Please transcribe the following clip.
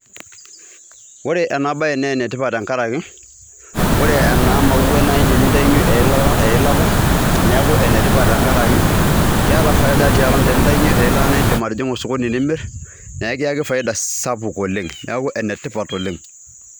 Ore ena baye nee ene tipat tenkaraki ore ena mauai naa niindim aitayunye eilata eilata neeku ene tipat tenkaraki keeta faida tenintayunye eilata niiidim atijing'a osokoni nimir nekiaki faida sapuk oleng' neeku ene tipat oleng'.